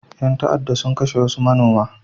Ƴan ta'adda sun kashe wasu manoma.